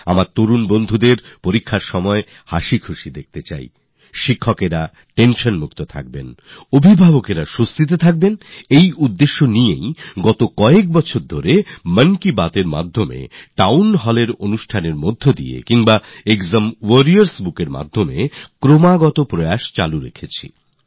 আমার নবীন বন্ধুদের পরীক্ষার সময় যাতে হাশিখুশি দেখা যায় পেরেন্টস উত্তেজনা মুক্ত থাকেন টিচার্স আশ্বস্ত থাকেন এই উদ্দেশ্য নিয়েই গত কয়েকবছর ধরে আমরা মনের কথার মাধ্যমে পরীকসা পর চর্চা টাউন Hallএর মাধ্যমে অথবা এক্সাম warriorস্ Bookএর মাধ্যমে লাগাতর চেষ্টা করে যাচ্ছি